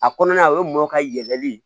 A kɔnɔna o ye mɔ ka yɛlɛli